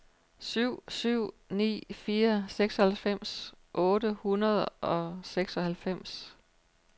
syv syv ni fire seksoghalvfems otte hundrede og seksoghalvfems